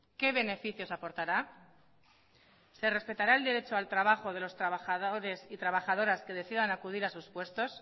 qué beneficios aportará se respetará el derecho al trabajo de los trabajadores y trabajadoras que decidan acudir a sus puestos